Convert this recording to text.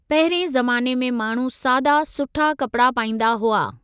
पहिरिएं ज़माने में माण्हू सादा सुठा कपिड़ा पाईंदा हुआ।